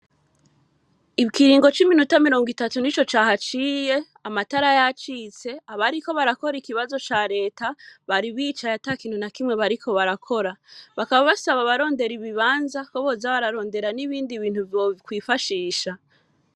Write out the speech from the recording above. Ikiringo, c'iminota mirongo itatu, nico cahaciye, amatara yacitse, abariko barakora, ikibazo ca leta, bari bicaye, ata kintu na kimwe, bariko barakora; bakaba basaba abarondera ibibanza, ko boza bararondera, n'ibindi bintu, bokwifashisha.